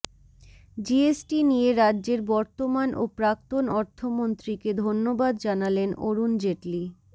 GST নিয়ে রাজ্যের বর্তমান ও প্রাক্তন অর্থমন্ত্রীকে ধন্যবাদ জানালেন অরুণ জেটলি